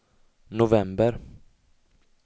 november